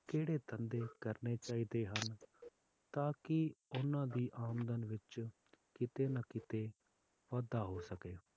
ਕਿਹੜੇ ਧੰਦੇ ਕਰਨੇ ਚਾਹੀਦੇ ਹਨ ਤਾਂਕਿ ਓਹਨਾ ਦੀ ਆਮਦਨ ਵਿੱਚ ਕੀਤੇ ਨਾ ਕੀਤੇ ਵਾਧਾ ਹੋ ਸਕੇ